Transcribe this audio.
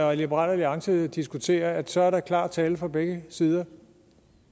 og liberal alliance diskuterer at der så er klar tale fra begge sider og